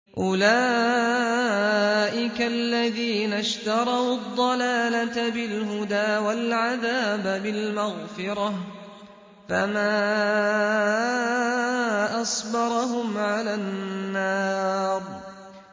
أُولَٰئِكَ الَّذِينَ اشْتَرَوُا الضَّلَالَةَ بِالْهُدَىٰ وَالْعَذَابَ بِالْمَغْفِرَةِ ۚ فَمَا أَصْبَرَهُمْ عَلَى النَّارِ